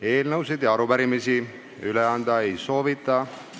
Eelnõusid ega arupärimisi üle anda ei soovita.